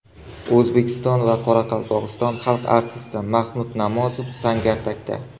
O‘zbekiston va Qoraqalpog‘iston xalq artisti Mahmud Namozov Sangardakda.